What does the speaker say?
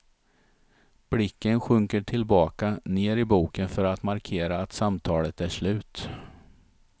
Blicken sjunker tillbaka ner i boken för att markera att samtalet är slut.